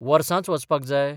वर्सांच वचपाक जाय?